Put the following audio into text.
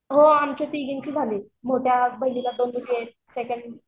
हो आमच्या तिघींची झाली मोठ्या बहिणीचे सेकंड